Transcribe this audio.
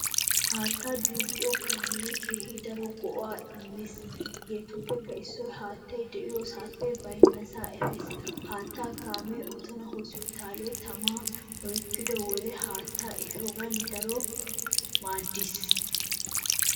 Haattaa duuqqiyaa kaamee keehi daro go'aa immees hegeetuppe issoy haattay de'iyoosaappe baynnasaa efees. Haattaa kaamee Otona hosppitaaliyaa tamay oykko wode haattaa ehiyoogaan daro maadiis.